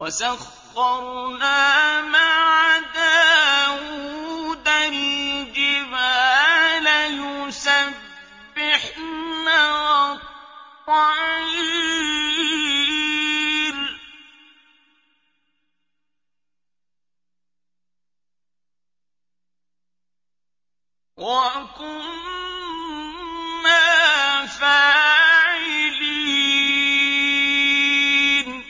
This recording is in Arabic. وَسَخَّرْنَا مَعَ دَاوُودَ الْجِبَالَ يُسَبِّحْنَ وَالطَّيْرَ ۚ وَكُنَّا فَاعِلِينَ